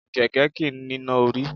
Kẹ̀kẹ́ kìí níná orí.